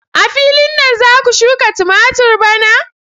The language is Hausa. A filin nan za ku shuka tumatur bana?